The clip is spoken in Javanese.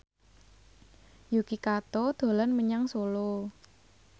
Yuki Kato dolan menyang Solo